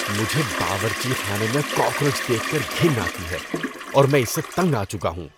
مجھے باورچی خانے میں کاکروچ دیکھ کر گھن آتی ہے اور میں اس سے تنگ آ چکا ہوں۔